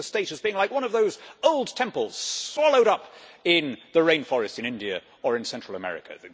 Think of the state as being like one of those old temples swallowed up in the rainforests in India or in Central America.